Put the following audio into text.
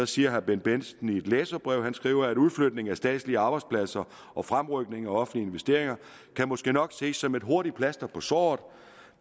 siger herre bendt bendtsen noget i et læserbrev han skriver at udflytningen af statslige arbejdspladser og fremrykningen af offentlige investeringer måske nok kan ses som et hurtigt plaster på såret